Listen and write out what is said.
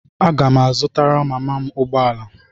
Aga m azụtara mama m ụgbọ ala.